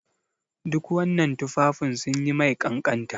Duk wannan tufafin sun yi mai kanƙanta.